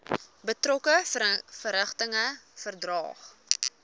betrokke verrigtinge verdaag